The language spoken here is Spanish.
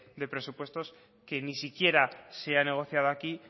de presupuestos que ni siquiera se ha negociado aquí